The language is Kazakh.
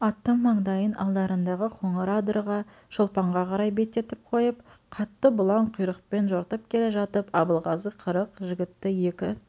аттың маңдайын алдарындағы қоңыр адырға шолпанға қарай бететіп қойып қатты бұлаң құйрықпен жортып келе жатып абылғазы қырық жігітті екі